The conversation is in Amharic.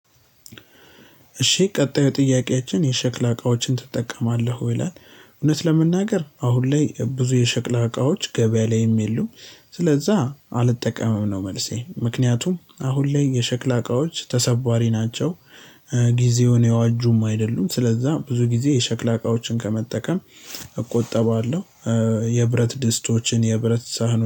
እሺ ቀጣዩ ጥያቄአችን የሸክላ እቃዎችን ትጠቀማለህ ወይ ይላል? እውነት ለመናገር አሁን ላይ ብዙ የሸክላ እቃዎች ገቢያ ላይም የሉም ስለዛ አልጠቀምም ነው። መልሴ ምክኒያቱም አሁን ላይ የሸክላ እቃዎች ተሰባሪ ናቸው። ጊዜውን የዋጁም አይደሉም ስለዛ ብዙ ጊዜ የሸክላ እቃዎችን ከመጠቀም እቆጠባለሁ። የብረት ድስቶችን የብረት ሳህኖ